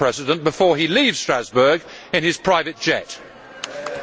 Herr Kollege Atkins, Sie waren einmal Koordinator im Geschäftsordnungsausschuss.